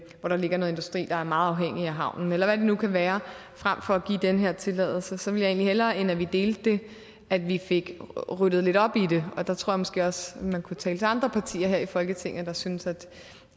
der ligger noget industri der er meget afhængigt af havnen eller hvad det nu kan være frem for at give den her tilladelse så ville hellere end at vi delte det at vi fik ryddet lidt op i det og der tror jeg måske også man kunne tale til andre partier her i folketinget der synes